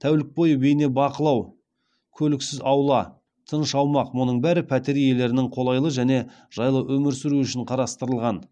тәулік бойы бейнебақылау көліксіз аула тыныш аумақ мұның бәрі пәтер иелерінің қолайлы және жайлы өмір сүруі үшін қарастырылған